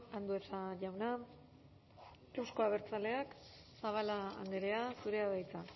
andueza jauna euzko abertzaleak zabala andrea zurea da hitza